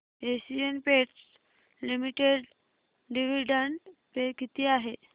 Asian Paints limited dividend pay किती आहे